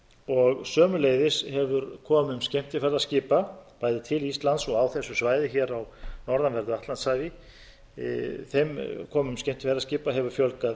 og sömuleiðis hefur komum skemmtiferðaskipa bæði til íslands og á þessu svæði hér á norðanverðu atlantshafi fjölgað